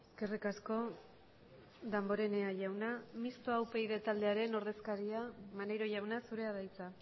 eskerrik asko damborenea jauna mistoa upyd taldearen ordezkaria maneiro jauna zurea da hitza